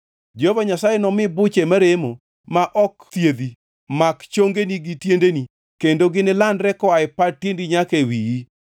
Jehova Nyasaye nomi buche maremo ma ok thiedhi mak chongeni gi tiendeni kendo ginilandre koa e pat tiendi nyaka e wiyi.